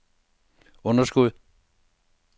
underskud